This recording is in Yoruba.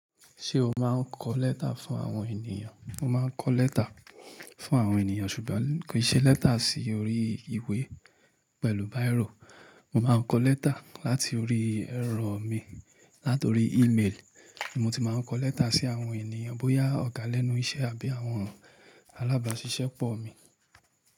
Ṣé o máa ń kọ lẹ́tà fún àwọn ènìyàn? Mo máa ń kọ lẹ́tà fún àwọn ènìyàn ṣùgbọ́n kì í ṣe lẹ́tà sí orí ìwé pẹ̀lú bírò. Mo máa ń kọ lẹ́tà láti orí ẹ̀rọ mi, láti orí email. Mo ti máa ń kọ lẹ́tà sí àwọn ènìyàn bóyá ọ̀gá lẹ́nu iṣẹ́ àbí àwọn alábàásisẹ́pọ̀ mi.